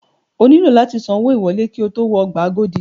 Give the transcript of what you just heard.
O nílò láti san owó ìwọlé ki o tó wọ ọgbà Agodi.